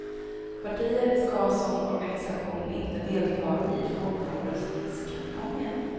Partiet ska som organisation inte delta i folkomröstningskampanjen.